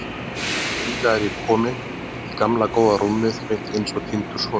Og hingað er ég kominn, í gamla góða rúmið mitt eins og týndur sonur.